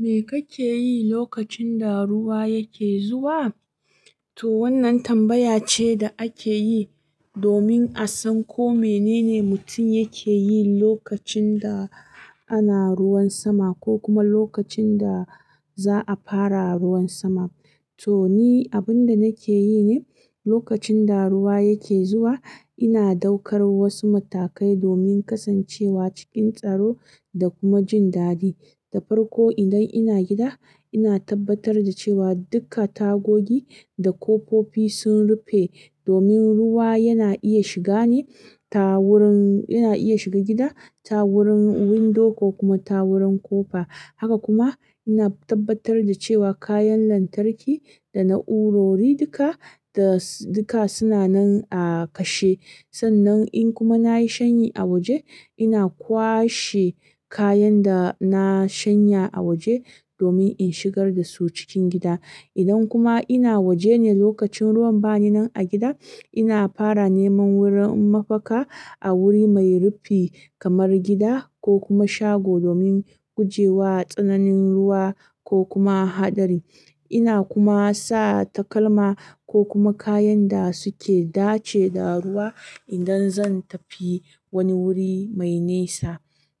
Me kake yi lokacin da ruwa yake zuwa? To wannan tambaya ce da ake yi domin a san ko menene mutum yake yi lokacin da ana ruwan sama ko kuma lokacin da za a fara ruwan sama. To ni abin da nake yi ne lokacin da ruwa yake zuwa, ina daukar wasu matakai domin kasancewa cikin tsaro da kuma jin daɗi. Da farko idan ina gida, ina tabbatar da cewa duka tagogi da kofofi sun rufe domin ruwa yana iya shiga ne tawurin, yana iya shiga gida tawurin windo ko kuma tawurin kofa. Haka kuma ina tabbatar da cewa kayan lantarki da na'urori duka da duka suna nan a kashe. Sannan in kuma nayi shanyi a waje ina kwashe kayan da na shanya a waje domin in shigar da su cikin gida. Idan kuma ina waje ne lokacin ruwan bani nan a gida, ina fara neman wurin mafaka a wuri mai rufi kamar gida ko kuma shago domin gujewa tsananin ruwa ko kuma haɗari. Ina kuma sa takalma ko kuma kayan da suke dace da ruwa idan zan tafi wani wuri mai nesa.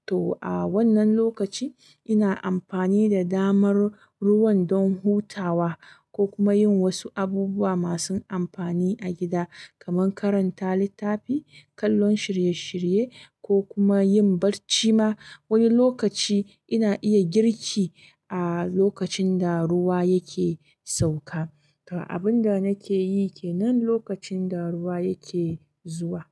To a wannan lokaci ina amfani da damar ruwan don hutawa ko kuma yin wasu abubuwa masu amfani a gida kamar karanta littafi, kallon shirye-shirye ko kuma yin barci ma. Wani lokaci ina iya girki a lokacin da ruwa yake sauka. To abin da nake yi ke nan lokacin da ruwa yake zuwa.